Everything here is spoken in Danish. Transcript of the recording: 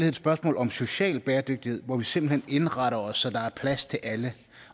et spørgsmål om social bæredygtighed hvor vi simpelt hen indretter os så der er plads til alle